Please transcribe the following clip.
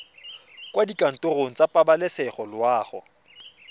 kwa dikantorong tsa pabalesego loago